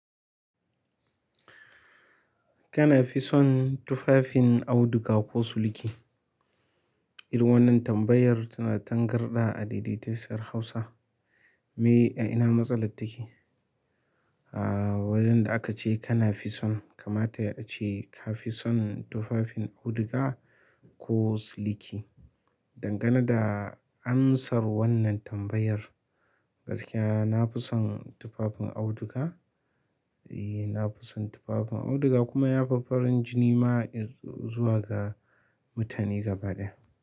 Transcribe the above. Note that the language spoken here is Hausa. Kana fi son tufafin auduga ko siliki? Irin wannan tambayar tana tangarɗa a daidaitacciyar Hausa. Me ya ina matsala take? A wajen da aka ce kana fi son, kamata yai ace ka fi son tufafin auduga ko siliki. Dangane da amsar wannan tambayar, gaskiya na fi son tufafin auduga. E, na fi son tufafin auduga kuma ya fi farin jini ma zuwa ga mutane gaba ɗaya.